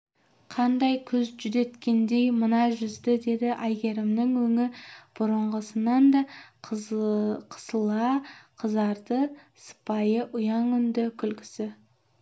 қандай күз жүдеткендей мына жүзді деді әйгерімнің өңі бұрынғысынан да қысыла қызарды сыпайы ұяң үнді күлкісі